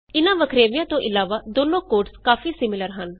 ਇਹਨਾਂ ਵੱਖਰੇਵਿਆਂ ਤੋਂ ਇਲਾਵਾ ਦੋਨੋ ਕੋਡਸ ਕਾਫੀ ਸਿਮੀਲਰ ਹਨ